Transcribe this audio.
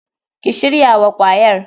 Ki shirya wa kwayar.